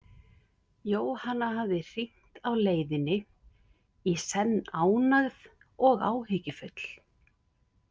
Jóhanna hafði hringt á leiðinni, í senn ánægð og áhyggjufull.